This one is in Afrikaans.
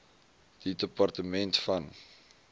die departement van